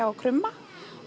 og krumma